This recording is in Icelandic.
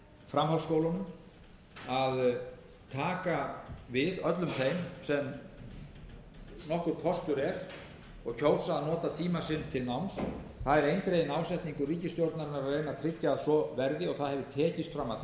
framhaldsskólunum að taka við öllum þeim sem nokkur kostur er og kjósa að nota tíma sinn til náms það er eindreginn ásetningur ríkisstjórnarinnar að reyna að tryggja að svo verði og það hefur tekist fram að þessu að tryggja